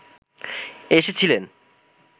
এসেছিলেন